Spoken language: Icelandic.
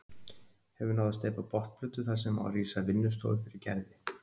Hefur náð að steypa botnplötu þar sem á að rísa vinnustofa fyrir Gerði.